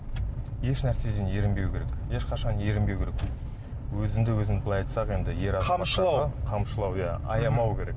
еш нәрседен ерінбеу керек ешқашан ерінбеу керек өзіңді өзің былай айтсақ енді қамшылау қамшылау иә аямау керек